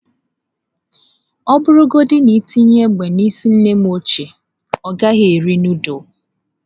Ọ bụrụgodị na i tinye egbe n’isi nnem ochie, ọ gaghị eri nudulu.